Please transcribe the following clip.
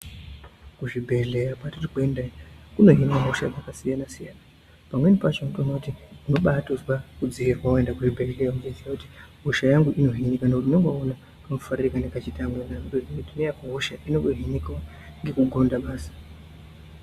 Kuzvibhedhlera kwatiri kuenda kunohinwa hosha dzakasiyana siyana pamweni pacho unotoona kuti ubaatozwe kudziirwa weienda kuzvibhedhlera uchiziva kuti hosha yangu inohinika ngekuti unenge waona kamufarire kanenge kechiita amwe kuti neyangu hosha inohinikawo ngekugonda basi.